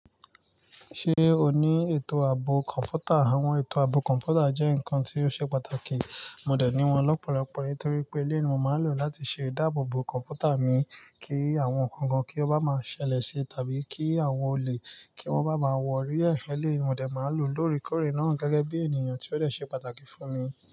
Ṣé o ní ètò ààbò kọ̀ǹpútà? Àwọn ètò ààbò kọ̀ǹpútà jẹ́ nǹkan tí ó ṣe pàtàkì. Mo dẹ̀ ní wọ́n lọ́pọ̀lọpọ̀ nítorí pé eleyi mo máa lò láti ṣe ìdáàbòòbò kọ̀ǹpútà mi kí àwọn ǹkan kan kí ó bá máa ṣẹlẹ̀ sí tàbí kí àwọn olè kí wọ́n bá máa wọ̀ orí ẹ̀leyi ni, mo dẹ̀ máa lò lórí kórè náà gẹ́gẹ́ bí ènìyàn tí ó dẹ̀ ṣe pàtàkì fún mi.